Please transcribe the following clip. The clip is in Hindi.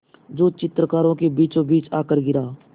जो चित्रकारों के बीचोंबीच आकर गिरा